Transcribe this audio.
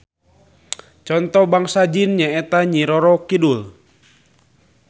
Conto Bangsa jin nyaeta Nyi Roro Kidul